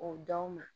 O d'aw ma